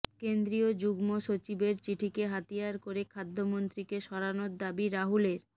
কেন্দ্রীয় যুগ্ম সচিবের চিঠিকে হাতিয়ার করে খাদ্যমন্ত্রীকে সরানোর দাবি রাহুলের